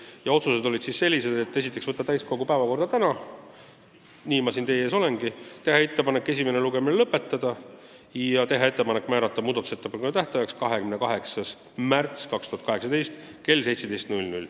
Ja otsused olid sellised: esiteks, teha ettepanek võtta eelnõu täiskogu tänasesse päevakorda ja nii ma siin teie ees olengi, teha ettepanek esimene lugemine lõpetada ja määrata muudatusettepanekute tähtajaks 28. märts 2018 kell 17.